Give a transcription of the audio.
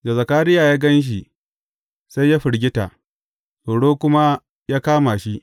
Da Zakariya ya gan shi sai ya firgita, tsoro kuma ya kama shi.